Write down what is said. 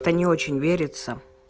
то не очень верится